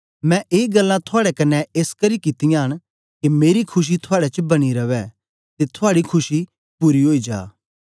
मैं ए गल्लां थुआड़े कन्ने एसकरी कित्तियां न के मेरी खुशी थुआड़े च बनी रवै ते थुआड़ी खुशी पूरी ओई जा